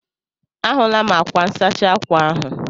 A hụla m ákwá nsachi ákwà ahụ.